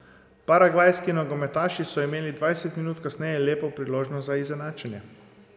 Paragvajski nogometaši so imeli dvajset minut kasneje lepo priložnost za izenačenje.